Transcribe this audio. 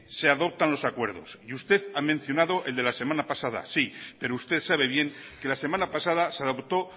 se adoptan los acuerdos y usted ha mencionado el de la semana pasada sí pero usted sabe bien que la semana pasada se adopto